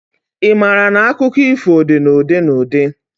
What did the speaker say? I maara na akụkọ ifo dị na ụdị na ụdị?